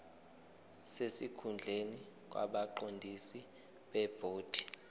sesikhundleni kwabaqondisi bebhodi